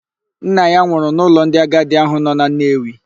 Nna ya nwụrụ n'ụlọ ndị agadi ahụ nọ na Nnewi.